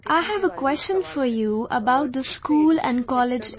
I have a question for you about the school and college education